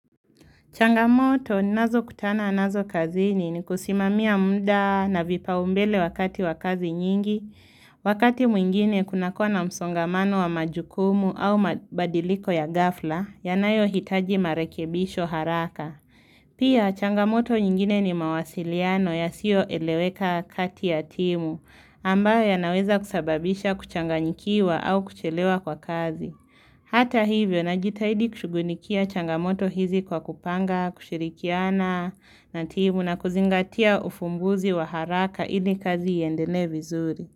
Changamoto ninazokutana nazo kazini ni kusimamia muda na vipaombele wakati wa kazi nyingi, wakati mwingine kuna kuwa na msongamano wa majukumu au mabadiliko ya ghafla yanayohitaji marekebisho haraka. Pia changamoto nyingine ni mawasiliano yasiyoeleweka kati ya timu ambayo yanaweza kusababisha kuchanganyikiwa au kuchelewa kwa kazi. Hata hivyo najitaidi kushughulikia changamoto hizi kwa kupanga, kushirikiana na timu na kuzingatia ufumbuzi wa haraka ili kazi iendelee vizuri.